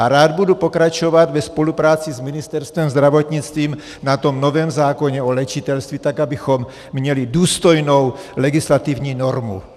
A rád budu pokračovat ve spolupráci s Ministerstvem zdravotnictví na tom novém zákoně o léčitelství tak, abychom měli důstojnou legislativní normu.